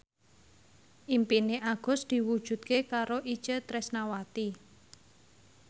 impine Agus diwujudke karo Itje Tresnawati